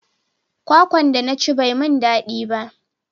Kwakwan da na ci bai mun dadi ba